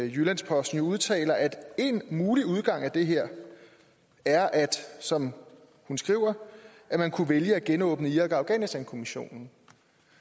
jyllands posten udtaler at én mulig udgang af det her er at som hun skriver man kunne vælge at genåbne irak og afghanistankommissionen